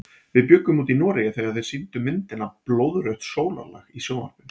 Við bjuggum úti í Noregi þegar þeir sýndu myndina Blóðrautt sólarlag í sjónvarpinu.